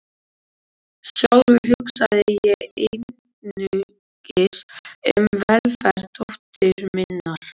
Sjálfur hugsaði ég einungis um velferð dóttur minnar.